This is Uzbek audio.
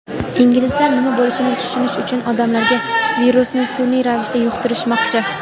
inglizlar nima bo‘lishini tushunish uchun odamlarga virusni sun’iy ravishda yuqtirishmoqchi.